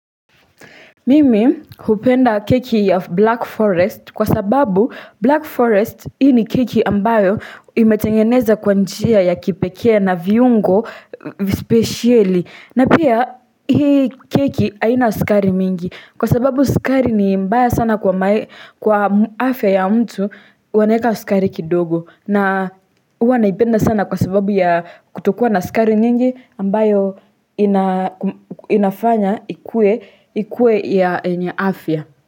Mimi hupenda keki ya Black Forest kwa sababu Black Forest hii ni keki ambayo imetengeneza kwa njia ya kipekee na viungo spesheli. Na pia hii keki haina sukari mingi kwa sababu sukari ni mbaya sana kwa afya ya mtu wanaeka sukari kidogo. Na huwa naipenda sana kwa sababu ya kutokuwa na sukari nyingi ambayo inafanya ikuwe ya enye afya.